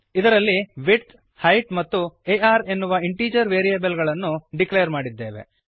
ಇದರಲ್ಲಿ width height ಮತ್ತು R ಎನ್ನುವ ಇಂಟೀಜರ್ ವೇರಿಯಬಲ್ ಗಳನ್ನು ಡಿಕ್ಲೇರ್ ಮಾಡಿದ್ದೇವೆ